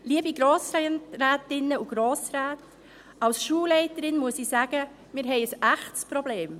Als Schulleiterin muss ich sagen: Wir haben ein echtes Problem.